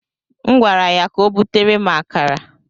M gwara ya ka o butere m akara.